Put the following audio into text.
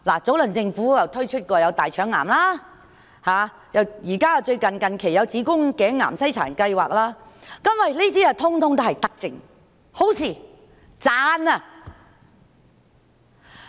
早前政府推出大腸癌篩查計劃，近期則有子宮頸癌篩查計劃，這些全都是德政，是好事，值得稱讚。